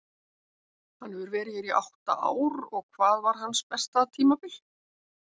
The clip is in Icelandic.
Hann hefur verið hér í átta ár og hvað var hans besta tímabil?